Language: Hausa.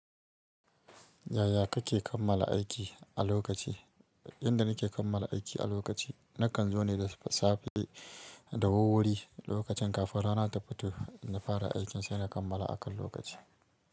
Yaya kake kammala aiki a lokaci? Inda nake kammala aiki a lokaci, nakan zo ne da safe da wuwwuri lokacin kafin rana ta fito, na fara aikin saina kammala akan lokaci.